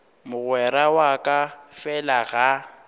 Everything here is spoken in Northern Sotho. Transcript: mogwera wa ka fela ga